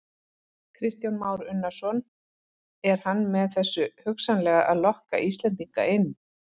Kristján Már Unnarsson: Er hann með þessu hugsanlega að lokka Íslendinga inn?